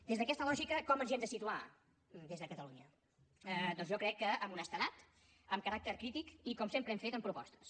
des d’aquesta lògica com ens hi hem de situar des de catalunya doncs jo crec que amb honestedat amb caràcter crític i com sempre hem fet amb propostes